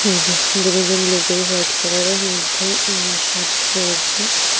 এই যে দুরোজন লোক ওই হোয়াইট কালারের মধ্যে অ শার্ট পরেছে।